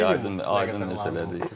Aydındır, aydın məsələdir.